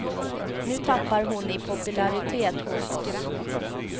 Nu tappar hon i popularitet hos oss.